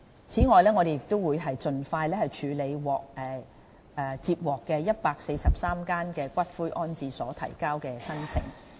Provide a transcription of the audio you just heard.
此外，我們會盡快處理143間骨灰安置所提交的申請。